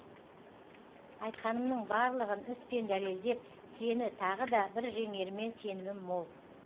айтқанымның барлығын іс пен дәлелдеп сені тағы да бір жеңеріме сенімім мол